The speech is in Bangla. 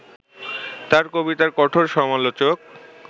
তাঁর কবিতার কঠোর সমালোচক